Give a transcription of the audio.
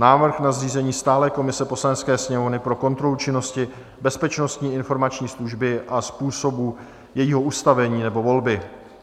Návrh na zřízení stálé komise Poslanecké sněmovny pro kontrolu činnosti Bezpečnostní informační služby a způsobu jejího ustavení nebo volby